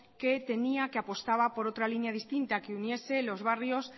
que tenía que apostaba por otra línea distinta que uniese los barrios